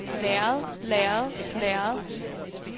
lærred lærred lærred